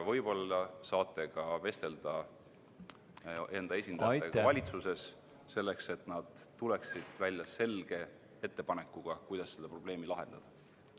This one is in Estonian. Võib-olla saate vestelda enda esindajatega valitsuses, selleks et nad tuleksid välja selge ettepanekuga, kuidas seda probleemi lahendada.